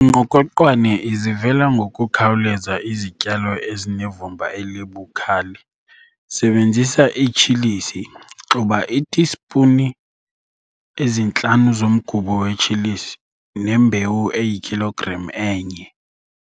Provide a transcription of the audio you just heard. Ingqokoqwane izivela ngokukhawuleza izityalo ezinevumba elibukhali. Sebenzisa itshilisi xuba iitispuni ezintlanu zomgubo wetshilisi nembewu eyikhilogram enye.